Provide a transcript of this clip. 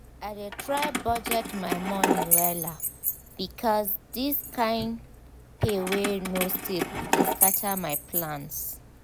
i dey try budget my money wella because this kain pay wey no stable dey scatter my plans.